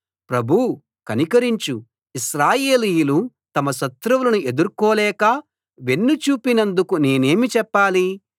ప్రభూ కనికరించు ఇశ్రాయేలీయులు తమ శత్రువులను ఎదుర్కోలేక వెన్ను చూపినందుకు నేనేమి చెప్పాలి